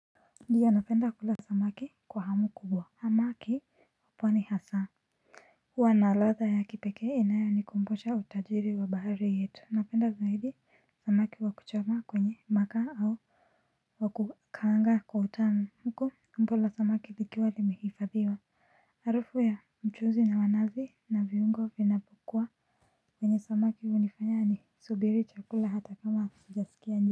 Ndiyo napenda kula samaki kwa hamu kubwa. Hamaki kwani hasa huwa na ladha ya kipekee inayonikumbusha utajiri wa bahari yetu. Napenda zaidi samaki wa kuchoma kwenye makaa au wa kukaanga kwa utamu huku tumbo la samaki likiwa limehifadhiwa harufu ya mchuuzi na wa nazi na viungo vinapokuwa ndiyo napenda kula samaki kwa hamu kubwa. Hamaki kwani hasa.